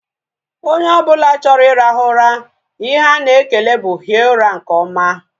Onye ọbụla chọrọ irahu ụra, ihe ana ekele bụ hie ụra nke oma